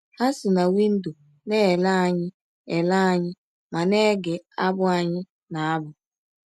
Ha si na windọ na - ele anyị ele anyị ma na - ege abụ anyị na - abụ.